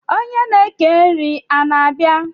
onye na eke nri a na-abia?